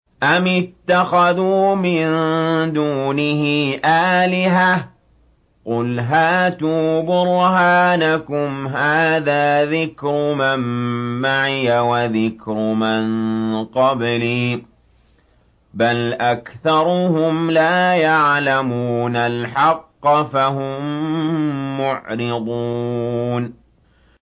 أَمِ اتَّخَذُوا مِن دُونِهِ آلِهَةً ۖ قُلْ هَاتُوا بُرْهَانَكُمْ ۖ هَٰذَا ذِكْرُ مَن مَّعِيَ وَذِكْرُ مَن قَبْلِي ۗ بَلْ أَكْثَرُهُمْ لَا يَعْلَمُونَ الْحَقَّ ۖ فَهُم مُّعْرِضُونَ